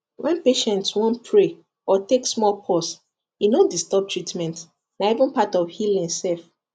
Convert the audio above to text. when patient wan pray or take small pause e no disturb treatment na even part of healing sef